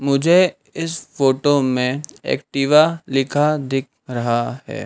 मुझे इस फोटो में एक्टिव लिखा दिख रहा है।